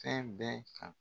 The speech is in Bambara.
Fɛn bɛɛ kan.